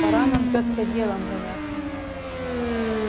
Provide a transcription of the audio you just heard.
пора нам тётка делом заняться